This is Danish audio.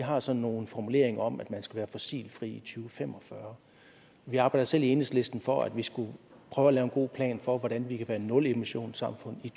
har sådan nogle formuleringer om at man skal være fossilfri i to fem og fyrre vi arbejder selv i enhedslisten for at vi skal prøve at lave en god plan for hvordan vi kan være et nulemissionssamfund i